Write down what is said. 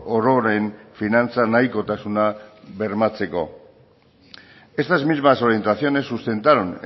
ororen finantza nahikotasuna bermatzeko estas mismas orientaciones sustentaron